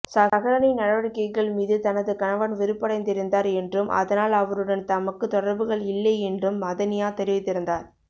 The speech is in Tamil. சஹ்ரானின் நடவடிக்கைகள் மீது தனது கணவன் வெறுப்படைந்திருந்தார் என்றும் அதனால் அவருடன் தமக்கு தொடர்புகள் இல்லை என்றும் மதனியா தெரிவித்திருந்தார்